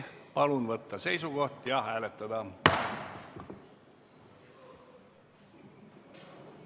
Palun võtta seisukoht ja hääletada!